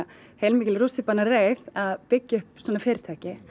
heilmikil rússíbanareið að byggja upp svona fyrirtæki